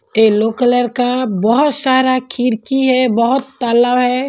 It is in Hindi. येलो कलर का बहुत सारा खिरकी है बहुत ताला है।